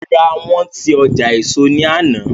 Rárá, wọ́n ti ọjà éso ní àná